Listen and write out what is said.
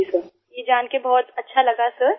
जी sir ये जान कर बहुत अच्छा लगा सर